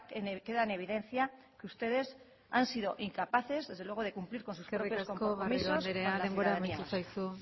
queda en evidencia que ustedes han sido incapaces desde luego de cumplir con sus propios compromisos con la ciudadanía eskerrik asko garrido andrea amaitu zaizu